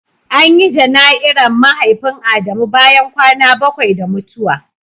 An yi janai'ra Mahaifin Adamu bayan kwana bakwai da mutuwa.